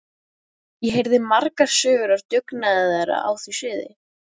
Ég heyrði margar sögur af dugnaði þeirra á því sviði.